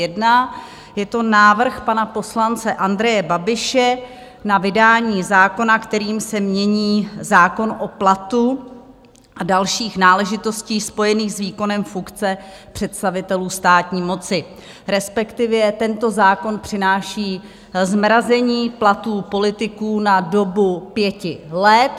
Je to návrh pana poslance Andreje Babiše na vydání zákona, kterým se mění zákon o platu a dalších náležitostech spojených s výkonem funkce představitelů státní moci, respektive tento zákon přináší zmrazení platů politiků na dobu pěti let.